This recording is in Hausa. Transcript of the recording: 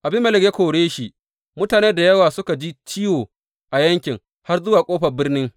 Abimelek ya kore shi, mutane da yawa suka ji ciwo a yaƙin, har zuwa ƙofar birnin.